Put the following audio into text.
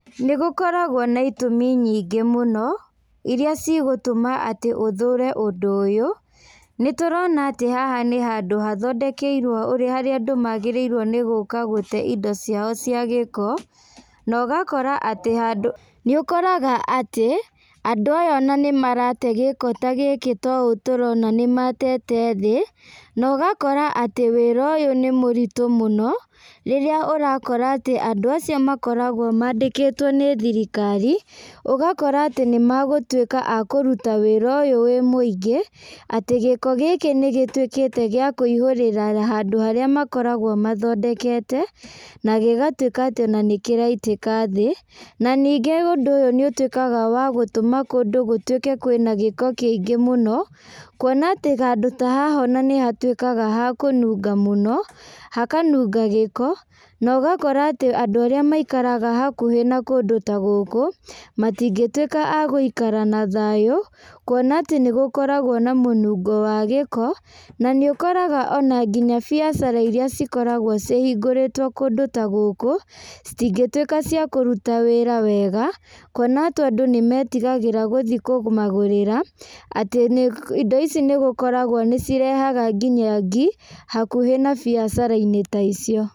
Nĩ gũkoragwo na itũmi nyingĩ mũno, ĩrĩa cigũtũma atĩ ũthũre ũndũ ũyũ. Nĩ tũrona atĩ haha nĩ handũ hathondekeirwo ũrĩa andũ magĩrĩirwo nĩ gũka gũte indo ciao cia gĩko, na ũgakora atĩ handũ. Nĩ ũkoraga atĩ, andũ aya ona nĩ marate gĩko ta gĩkĩ ta ũũ tũrona nĩ matete thĩ, na ũgakora atĩ wĩra ũyũ nĩ mũritũ mũno. Rĩrĩa ũrakora atĩ andũ acio makoragwo mandĩkĩtwo nĩ thirikari, ũgakora atĩ nĩ magũtuĩka a kũruta wĩra ũyũ wĩ mũingĩ. Atĩ gĩko gĩkĩ nĩ gĩtuĩkĩte gĩa kũihũrĩra handũ harĩa makoragwo mathondekete, na gĩgatuĩka atĩ ona nĩ kĩraitĩka thĩ. Na ningĩ ũndũ ũyũ nĩ ũtuĩkaga wa gũtũma kũndũ gũtuĩke kwĩna gĩko kĩingĩ mũno, kuona atĩ handũ ta haha ona nĩ hatuĩkaga ha kũnunga mũno, hakanunga gĩko. Na ũgakora atĩ andũ arĩa maikaraga hakuhĩ na kũndũ ta gũkũ, matingĩtuĩka a gũikara na thayũ, kuona atĩ nĩ gũkoragwo na mũnungo wa gĩko, na nĩ ũkoraga ona nginya biacara irĩa cikoragwo cihingũrĩtwo kũndũ ta gũkũ, citingĩtuĩka cia kũruta wĩra wega, kuona atĩ andũ nĩ metigagĩra gũthi kũmagũrĩra, atĩ indo ici nĩ gũkoragwo nĩ cirehaga nginya ngi, hakuhĩ na biacara-inĩ ta icio.